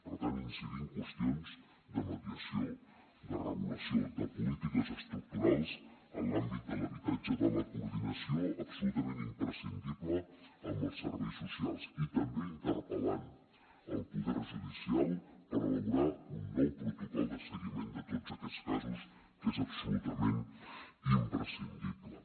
per tant incidir en qüestions de mediació de regulació de polítiques estructurals en l’àmbit de l’habitatge de la coordinació absolutament imprescindible amb els serveis socials i també interpel·lant el poder judicial per elaborar un nou protocol de seguiment de tots aquests casos que és absolutament imprescindible